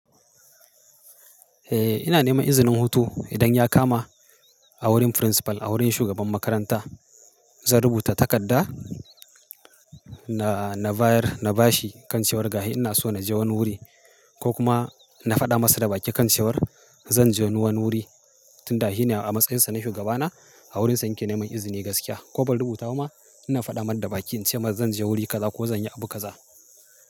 Eh ina neman izinin hutu idan ya kama a wurin principal a wurin shugaban makaranta zan rubuta takarda na, na bayar na ba shi kan cewar ga hi ina so na je wani wuri ko kuma na faɗa masa da baki kan cewar zan je wani wuri tunda shi ne a matsayinsa na shugaba na a wurinsa yake neman izini gaskiya ko ba rubutu ba ma ina faɗar da baki in ce masa zan je wuri kaza ko zan yi abu kaza.